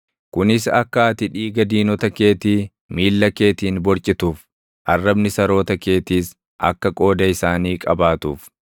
kunis akka ati dhiiga diinota keetii miilla keetiin borcituuf; arrabni saroota keetiis akka qooda isaanii qabaatuuf.”